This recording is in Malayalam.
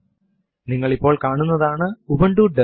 ആദ്യമായി നമ്മൾ കാണാൻ പോകുന്നത് എച്ചോ കമാൻഡ് ആണ്